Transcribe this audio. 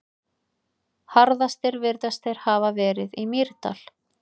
Harðastir virðast þeir hafa verið í Mýrdal.